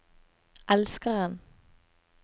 elskeren